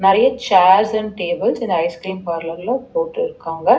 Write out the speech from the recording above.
நறைய chairs and tables இந்த ஐஸ்கிரீம் பார்லர்ல போட்டுருக்காங்க.